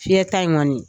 Fiyɛta in kɔni